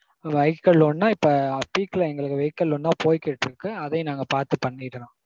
vehicle loan னா இப்போ peek ல எங்களுக்கு vehicle loan தா போய்க்கிட்டிருக்கு. அதையும் நாங்க பாத்து பண்ணிடறோம்.